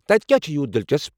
تتہِ کیٚا چھُ یوٗت دلچسپ؟